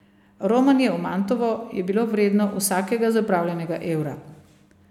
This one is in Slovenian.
Romanje v Mantovo je bilo vredno vsakega zapravljenega evra.